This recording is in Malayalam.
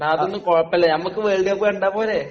ഡാ..അതൊന്നും കുഴപ്പമില്ല, നമ്മക്ക് വേൾഡ് കപ്പ് കണ്ടാൽ പോരേ...